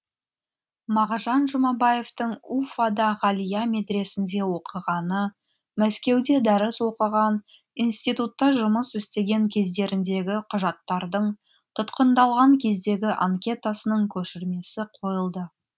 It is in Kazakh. мағжан жұмабаевтың уфада ғалия медресесінде оқығаны мәскеуде дәріс оқыған институтта жұмыс істеген кездеріндегі құжаттардың тұтқындалған кездегі анкетасының көшірмесі қойылды